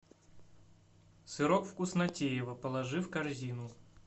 сырок вкуснотеево положи в корзину